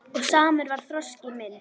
Og samur var þroski minn.